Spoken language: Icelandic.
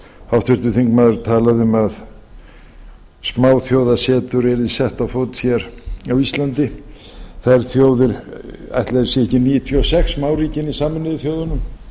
háttvirtur þingmaður talaði um að smáþjóðasetur yrði sett á fót hér á íslandi ætli þau séu ekki níutíu og sex smáríkin í sameinuðu þjóðunum